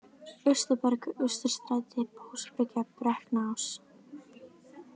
Austurberg, Austurstræti, Básbryggja, Brekknaás